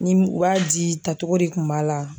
Ni u b'a di tacogo de kun b'a la